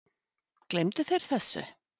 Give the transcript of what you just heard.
Gleymdu þeir þessu?